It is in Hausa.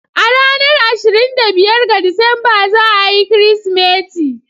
A ranar ashirin da biyar ga Disamba za a yi Kirsimeti.